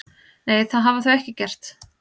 Nei, það hafa þau ekki gert